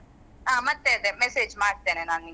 ಹ ಮತ್ತೆ ಅದೆ message ಮಾಡ್ತೇನೆ ನಾನ್ ನಿನ್ಗೆ.